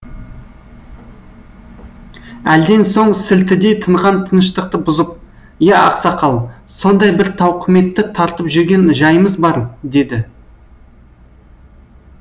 әлден соң сілтідей тынған тыныштықты бұзып иә ақсақал сондай бір тауқыметті тартып жүрген жайымыз бар деді